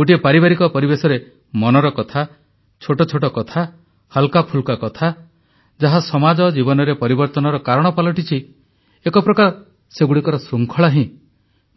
ଗୋଟିଏ ପାରିବାରିକ ପରିବେଶରେ ମନର କଥା ଛୋଟ ଛୋଟ କଥା ହାଲ୍କାଫୁଲ୍କା କଥା ଯାହା ସମାଜ ଜୀବନରେ ପରିବର୍ତନର କାରଣ ପାଲଟିଛି ଏକ ପ୍ରକାର ସେଗୁଡ଼ିକର ଶୃଙ୍ଖଳା ହିଁ